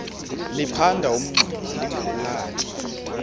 liphanda umngxuma lingawulali